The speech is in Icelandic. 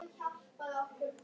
Viltu gera svo vel.